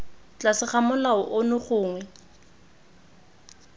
tlase ga molao ono gongwe